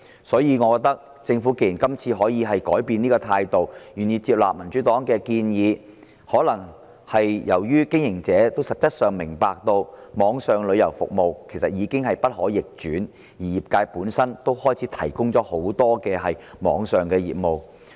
所以，政府今次竟然改變態度，願意接納民主黨的建議，我覺得可能覺察到網上旅遊服務的趨勢其實已經不可逆轉，而業界本身亦都開始營辦很多網上業務。